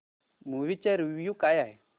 movie चा review काय आहे